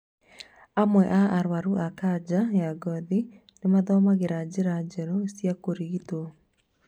Amwe a arwaru a kanja ya ngothi nĩ mathomagĩra njĩra njerũ cia kũrigitwo